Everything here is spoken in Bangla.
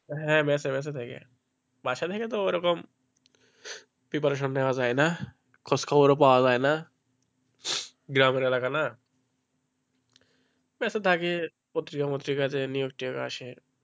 হ্যাঁ বাসা~বাসা থেকে বাসা থেকে তো ওইরকম preparation নেওয়া যায় না খোঁজখবরও পাওয়া যায় না পত্রিকা ফ্রতিকা থেকে news আসে,